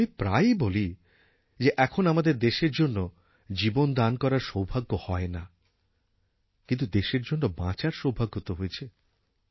আমি প্রায়ই বলি যে এখন আমাদের দেশের জন্য জীবন দান করার সৌভাগ্য হয় না কিন্তু দেশের জন্য বাঁচার সৌভাগ্য তো হয়েছে